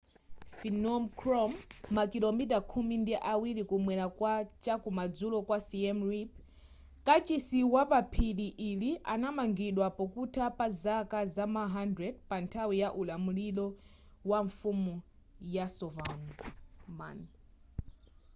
phnom krom makilomita khumi ndi awiri kumwela kwa chaku madzulo kwa siem reap kachisi wapa phiri ili anamangidwa pokutha pa zaka za ma 800 panthawi ya ulamuliro wa mfumu yasovarman